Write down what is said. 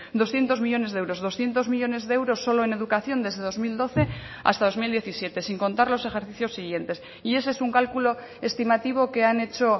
doscientos millónes de euros doscientos millónes de euros solo en educación desde dos mil doce hasta dos mil diecisiete sin contar los ejercicios siguientes y ese es un cálculo estimativo que han hecho